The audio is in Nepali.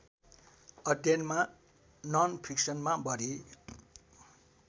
अध्ययनमा ननफिक्सनमा बढी